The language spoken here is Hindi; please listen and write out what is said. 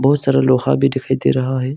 बहुत सारा लोहा भी दिखाई दे रहा है।